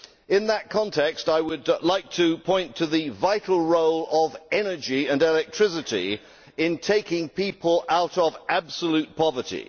In that context I would like to point to the vital role of energy and electricity in taking people out of absolute poverty.